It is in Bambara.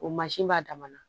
O mansin b'a dan na